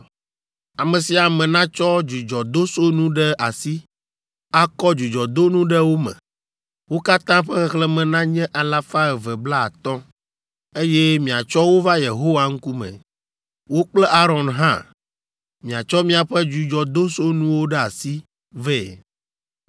Ame sia ame natsɔ dzudzɔdosonu ɖe asi, akɔ dzudzɔdonu ɖe wo me. Wo katã ƒe xexlẽme nanye alafa eve blaatɔ̃ (250), eye miatsɔ wo va Yehowa ŋkume. Wò kple Aron hã, miatsɔ miaƒe dzudzɔdosunuwo ɖe asi vɛ.”